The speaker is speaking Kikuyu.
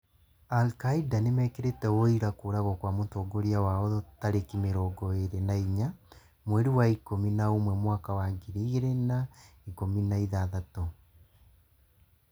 Al-Qaeda nĩmekĩrĩe ũira kũragwo kwa mũtongoria wao tarĩki mĩrongo ĩrĩ na inya mweri wa ikũmi na ũmwe mwaka wa ngiri igĩri na ikũmi na ithathatũ